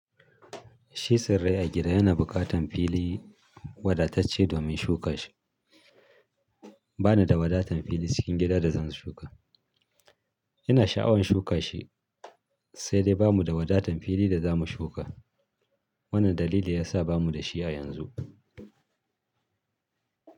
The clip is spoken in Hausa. Shi tsirai a gida yana bukatan fili wadatacce domin shuka shi. Ba ni da wadatn fili cikin gida da zan shuka. Ina sha'awan shuka shi sai dai ba mu da wadatan fili da za mu shuka. Wannan dalili ya sa ba mu da shi a yanzu.